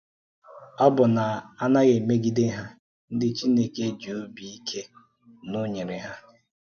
Ọ́ bụ̀ na a na-emegide hà, ndị̀ Chineke jì̄ obi ike na Ọ nọnyere hà.